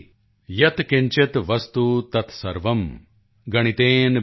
ਯਤ ਕਿੰਚਿਤ ਵਸਤੁ ਤਤ ਸਰਵੰ ਗਣਿਤੇਨ ਬਿਨਾ ਨਹਿ